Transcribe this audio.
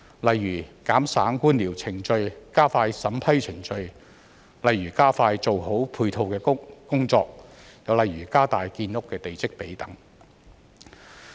例如減省官僚程序、加快審批程序、加快做好配套的工作，或加大建屋的地積比等。